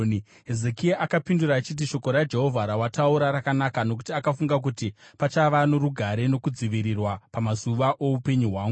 Hezekia akapindura achiti, “Shoko raJehovha rawataura rakanaka.” Nokuti akafunga kuti, “Pachava norugare nokudzivirirwa pamazuva oupenyu hwangu.”